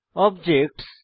objects